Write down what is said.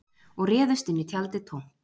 Og réðust inn í tjaldið tómt